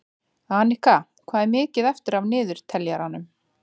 Anika, hvað er mikið eftir af niðurteljaranum?